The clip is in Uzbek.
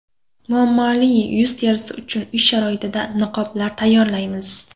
Muammoli yuz terisi uchun uy sharoitida niqoblar tayyorlaymiz.